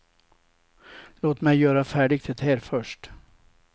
Låt mig göra färdigt det här först.